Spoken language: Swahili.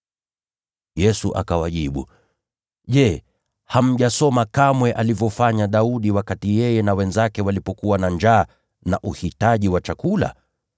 Yesu akawajibu, “Je, hamjasoma kamwe alivyofanya Daudi wakati yeye na wenzake walikuwa na njaa, wakahitaji chakula?